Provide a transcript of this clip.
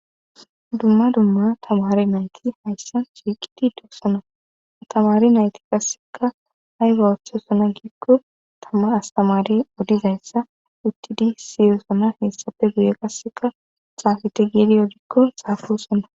Dumma dumma tamari nayti hayssa shiiqiti dusona tamari nayti qasseka hay ba woththesona giikko tama astamari odizayssa uttidi siyosona heessafe guye qasseka xaafete geedi odikko xaafesonna.